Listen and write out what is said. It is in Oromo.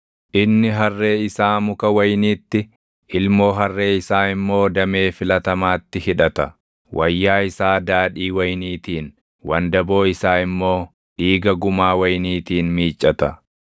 Inni harree isaa muka wayiniitti, ilmoo harree isaa immoo damee filatamaatti hidhata; wayyaa isaa daadhii wayiniitiin, wandaboo isaa immoo dhiiga gumaa wayiniitiin miiccata.